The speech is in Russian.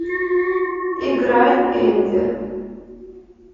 играй энди